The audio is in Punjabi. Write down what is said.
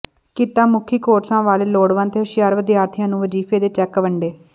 ਕਿੱਤਾ ਮੁਖੀ ਕੋਰਸਾਂ ਵਾਲੇ ਲੋੜਵੰਦ ਤੇ ਹੁਸ਼ਿਆਰ ਵਿਦਿਆਰਥੀਆਂ ਨੂੰ ਵਜ਼ੀਫੇ ਦੇ ਚੈੱਕ ਵੰਡੇ